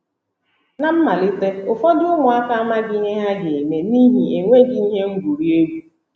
Ná mmalite, ụfọdụ ụmụaka amaghị ihe ha ga - eme n’ihi enweghị ihe ngwurị egwu.